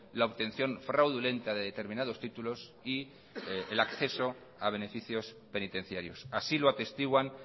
la obtención fraudulenta de determinados títulos y el acceso a beneficios penitenciarios así lo atestiguan